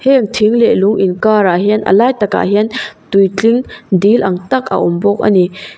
heng thing leh lung in karah hian a lai tak ah hian tui tling dil ang tak a awm bawk a ni.